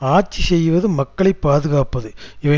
ஆட்சி செய்வது மக்களை பாதுகாப்பது இவை